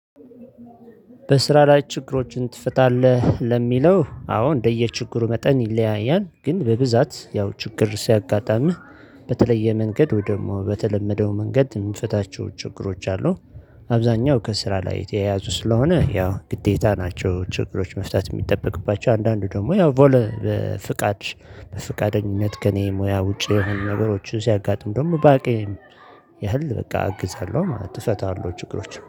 በስራ ላይ ችግሮችን ትፈታለህ? ለሚለው አዎ እንደየችግሩ መጠን ይለያያል ግን በብዛት ያው ችግር ሲያጋጥምህ በተለየ መንገድ ወደ በተለመደው መንገድ የምንፈታቸው ችግሮች አሉ። አብዛኛው ከስራ ላይ የተያያዙ ስለሆነ ያው ግዴታ ናቸው። ችግሮች መፍታት የሚጠበቅባቸው አንዳንዱ ደግሞ ያው ቮለ ፍቃድ በፍቃደኝነት ከእኔ ሙያ ውጪ የሆኑ ነገሮች ሲያጋጥሙ ደግሞ ባቄ ያህል በቃ አግዛለሁ ማለት እፈተዋለው ችግሮች